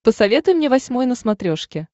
посоветуй мне восьмой на смотрешке